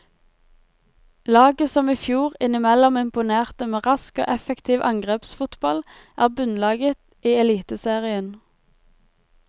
Laget som i fjor innimellom imponerte med rask og effektiv angrepsfotball, er bunnlaget i eliteserien.